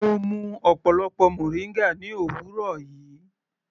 Mo mú ọ̀pọlọpọ moringa ní òwúrọ̀ yìí.